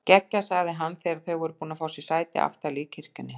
Geggjað sagði hann þegar þau voru búin að fá sér sæti aftarlega í kirkjunni.